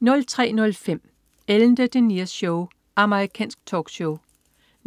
03.05 Ellen DeGeneres Show. Amerikansk talkshow